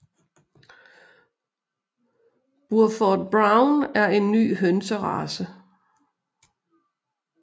Burford Brown er en ny hønserace